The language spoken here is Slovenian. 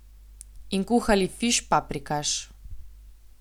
In kuhali fiš paprikaš.